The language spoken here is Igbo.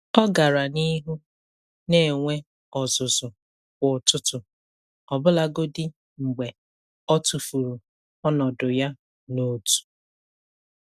Ọ gara n'ihu na-enwe ọzụzụ kwa ụtụtụ, ọbụlagodi mgbe ọ tụfuru ọnọdụ ya na otu.